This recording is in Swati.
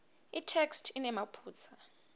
itheksthi inemaphutsa